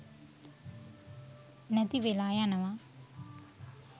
නැති වෙලා යනවා